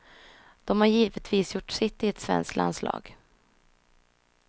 De har givetvis gjort sitt i ett svenskt landslag.